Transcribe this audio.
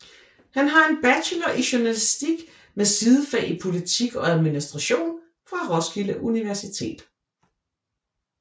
Han har en bachelor i journalistik med sidefag i politik og administration fra Roskilde Universitet